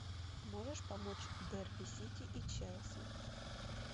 можешь помочь дерби сити и челси